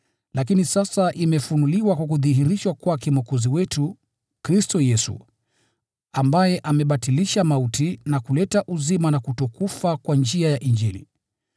Lakini sasa imefunuliwa kwa kudhihirishwa kwake Mwokozi wetu, Kristo Yesu, ambaye amebatilisha mauti na kuleta uzima na kutokufa kwa njia ya Injili.